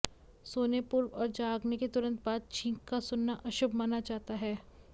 सोने पूर्व और जागने के तुरन्त बाद छींक का सुनना अशुभ माना जाता है